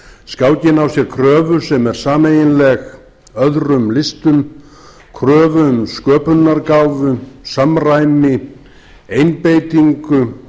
skákin á sér kröfu sem er sameiginleg öðrum listum kröfu um sköpunargáfu samræmi einbeitingu